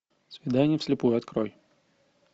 свидание вслепую открой